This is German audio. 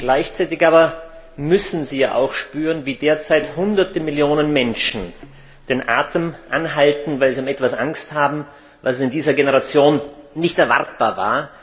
Gleichzeitig aber müssen Sie auch spüren, wie derzeit Hunderte Millionen Menschen den Atem anhalten, weil sie um etwas Angst haben, was in dieser Generation nicht erwartbar war.